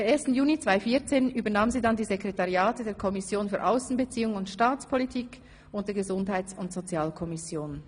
Per 1. Juni 2014 übernahm Frau Baumgartner dann die Sekretariate der Kommissionen SAK und GSoK.